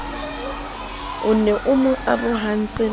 ne e mo arohantse le